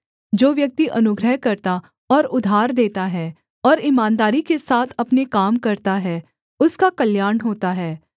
जो व्यक्ति अनुग्रह करता और उधार देता है और ईमानदारी के साथ अपने काम करता है उसका कल्याण होता है